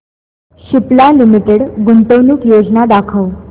Cipla limited गुंतवणूक योजना दाखव